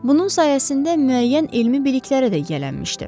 Bunun sayəsində müəyyən elmi biliklərə də yiyələnmişdi.